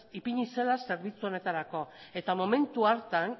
ipini zela zerbitzu honetarako eta momentu hartan